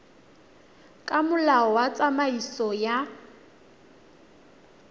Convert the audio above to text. ka molao wa tsamaiso ya